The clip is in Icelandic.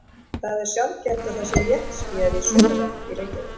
það er sjaldgæft að það sé léttskýjað í sunnanátt í reykjavík